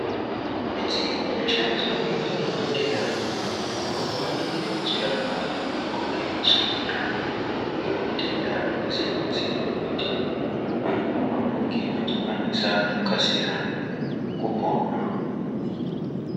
Midziyo inoshandiswa ngemadhokodheya, apo pavanenge vechirapa vantu vangangodai vachirwara ngematenda akasiyana -siyana kuti, vantu vange vachikwanisa kukasira kupona.